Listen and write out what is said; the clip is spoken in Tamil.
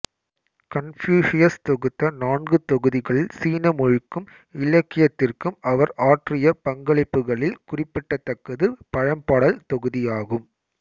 கன்பூசியஸ் தொகுத்த நான்கு தொகுதிகளில் சீன மொழிக்கும் இலக்கியத்திற்கும் அவர் ஆற்றியப் பங்களிப்புகளில் குறிப்பிடத்தக்கது பழம்பாடல் தொகுதியாகும்